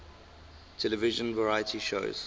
television variety shows